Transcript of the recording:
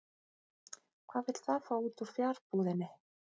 Hvað vill það fá út úr fjarbúðinni?